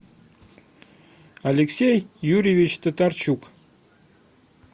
алексей юрьевич татарчук